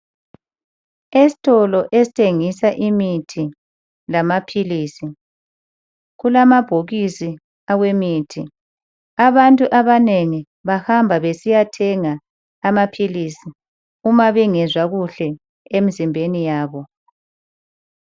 Esitolo esithengisa imithi lamaphilisi kulamabhokisi awemithi. Abantu abanengi bahamba besiyathenga amaphilisi uma bengezwa kuhle emizimbeni yabo.